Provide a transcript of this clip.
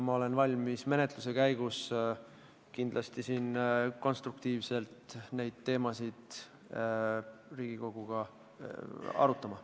Ma olen kindlasti valmis menetluse käigus konstruktiivselt neid teemasid Riigikoguga arutama.